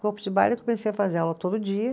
Corpo de baile eu comecei a fazer aula todo dia.